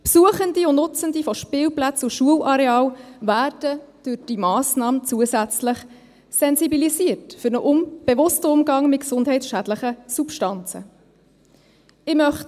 Besuchende und Nutzende von Spielplätzen und Schularealen werden durch diese Massnahme zusätzlich für einen bewussten Umgang mit gesundheitsschädlichen Substanzen sensibilisiert.